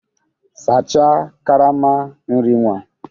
Sachaa karama nri nwa!